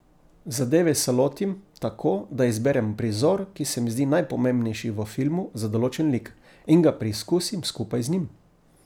Zadeve se lotim tako, da izberem prizor, ki se mi zdi najpomembnejši v filmu za določen lik, in ga preizkusim skupaj z njim.